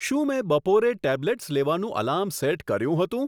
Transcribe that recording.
શું મેં બપોરે ટેબ્લેટ્સ લેવાનું એલાર્મ સેટ કર્યું હતું